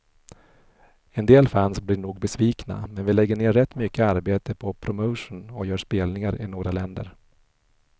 En del fans blir nog besvikna, men vi lägger ner rätt mycket arbete på promotion och gör spelningar i några länder.